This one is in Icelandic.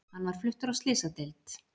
Hann var fluttur á slysadeild